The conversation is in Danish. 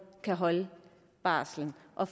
kan holde barslen og